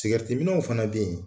minnaw fana be yen